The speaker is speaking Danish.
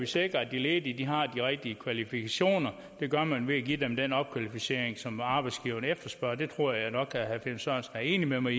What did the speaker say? sikre at de ledige har de rigtige kvalifikationer og det gør man ved at give dem den opkvalificering som arbejdsgiverne efterspørger det tror jeg nok at herre finn sørensen enig med mig